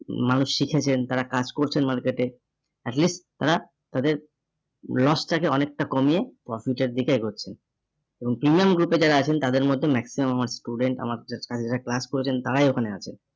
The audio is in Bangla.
মানুষ শিখেছেন, তারা কাজ করছেন market এ । At least তারা তাদের loss টাকে অনেকটা কমিয়ে profit এর দিকে এগছেন এবং তিনজন group এ যারা আছেন তাদের মধ্যে maximum আমার student আমার যারা class করেছেন তারাই এখানে আছে।